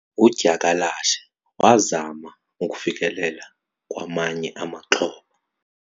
udyakalashe wazama ukufikelela kwamanye amaxhoba